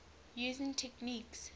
using techniques